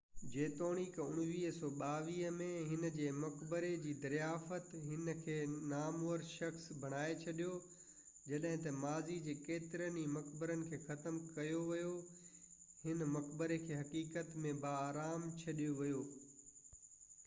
جيتوڻيڪ 1922 ۾ هن جي مقبري جي دريافت هن کي نامور شخص بڻائي ڇڏيو جڏهن ته ماضي جي ڪيترن ئي مقبرن کي ختم ڪيو ويو هن مقبري کي حقيقت ۾ باآرام ڇڏيو ويو